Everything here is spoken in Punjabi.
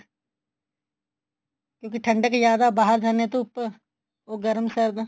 ਕਿਉਂਕਿ ਠੰਡਕ ਜਿਆਦਾ ਬਾਹਰ ਜਾਂਦੇ ਆ ਧੁੱਪ ਉਹ ਗਰਮ ਸਰਦ